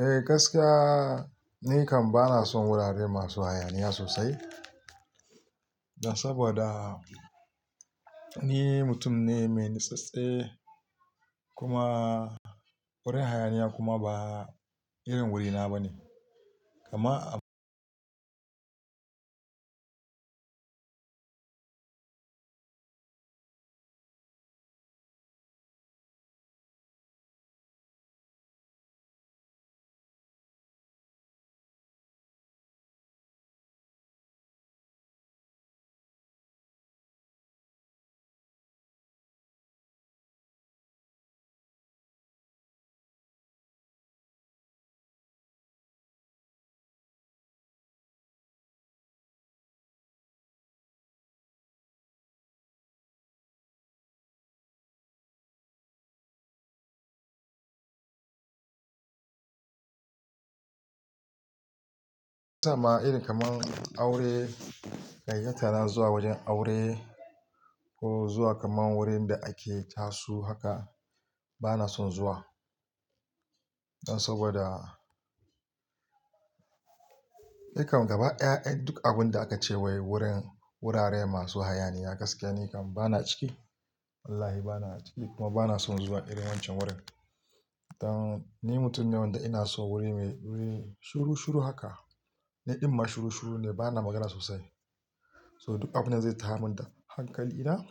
Eh, gaskiya ni kam bana son wurare masu hayaniya sosai. Dan saboda ni mutum ne mai natsatse kuma wurin hayaniya kuma ba irin wurina bane. Amma ya sa ma iri kaman aure, yanzu kamar zuwa wajen aure ko zuwa kaman wurin da ake chasu haka bana son zuwa. Dan saboda ni kam gaba ɗaya duk abunda aka ce wai wurin wurare masu hayaniya gaskiya ni kam bana ciki. Wallahi bana ciki kuma bana son zuwa irin wancan wurin. Dan ni mutum ne wanda ina son wuri mai wuri shuru shuru haka. Ni ɗin ma shuru shuru ne bana magana sosai. So duk abunda zai tayar min da hankali na,